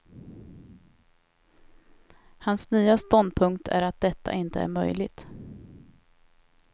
Hans nya ståndpunkt är att detta inte är möjligt.